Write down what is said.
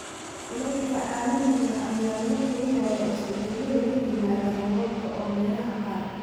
Kulaylka caalamiga ah ayaa lala xiriiriyaa isbeddellada ku yimaadda roobabka, oo meelaha qaar.